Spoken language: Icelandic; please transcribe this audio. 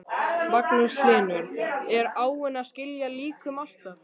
Magnús Hlynur: Er áin að skila líkum alltaf?